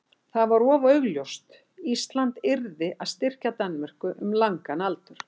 það var of augljóst: Ísland yrði að styrkja Danmörku um langan aldur.